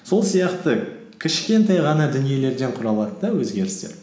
сол сияқты кішкентай ғана дүниелерден құралады да өзгерістер